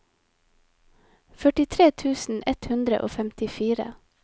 førtitre tusen ett hundre og femtifire